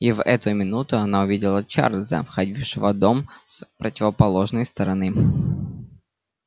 и в эту минуту она увидела чарлза входившего в дом с противоположной стороны